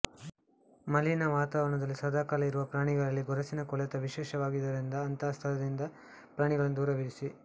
ಮಲಿನ ವಾತಾದವರಣದಲ್ಲಿ ಸದಾಕಾಲ ಇರುವ ಪ್ರಾಣಿಗಳಲ್ಲಿ ಗೊರಸಿನ ಕೊಳೆತ ವಿಶೇಷವಾಗಿರುವುದರಿಂದ ಅಂಥ ಸ್ಥಳಗಳಿಂದ ಪ್ರಾಣಿಯನ್ನು ದೂರವಿರಿಸಿ